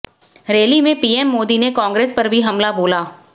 rally में PM Modi ने कांग्रेस पर भी हमला बोला